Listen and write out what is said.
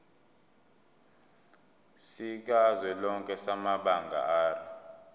sikazwelonke samabanga r